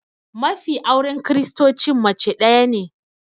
Mafi auren kiristocin mace daya ne